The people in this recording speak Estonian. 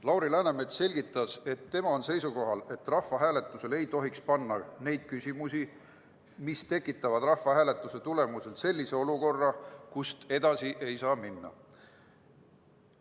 Lauri Läänemets selgitas, et tema on seisukohal, et rahvahääletusele ei tohiks panna selliseid küsimusi, mis tekitavad rahvahääletuse tulemusel sellise olukorra, kust edasi minna ei saa.